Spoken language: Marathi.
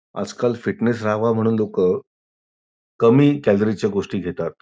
आजकाल फिटनेस राहावा म्हणून लोक कमी कॅलरी च्या गोष्टी घेतात.